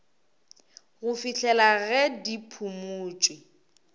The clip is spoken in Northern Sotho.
go fihlela ge di phumotšwe